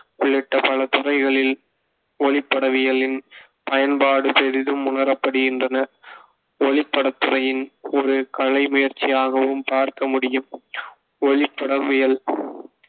உள்ளிட்ட பல துறைகளில் ஒளிப்படவியலின் பயன்பாடு பெரிதும் உணரப்படுகின்றன. ஒளிப்படத்துறையின் ஒரு கலை முயற்சியாகவும் பார்க்க முடியும். ஒளிப்படவியல்